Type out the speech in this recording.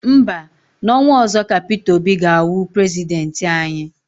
Mba, n'ọnwa ọzọ ka Peter Obi ga-awụ prezidenti anyị.